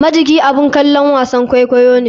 Majiki abun kalon wasan kwaikwayo ne.